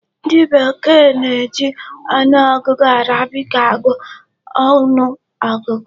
Ndị bekee na-eji ọnụọgụ Arabic agụ ọnụ ọgụgụ.